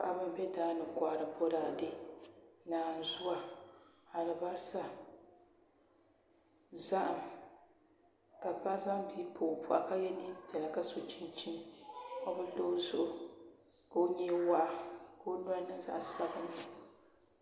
Paɣi bɛ daani n kɔhari bɔ daadɛ alibaasa saɣkm ka paɣi zaŋbii n pa o boɣu ka yɛ nee piɛla ka so chinchini o binbdoo zuɣʋ ka o nyee waɣa kuo noli niŋ zaɣ sabinli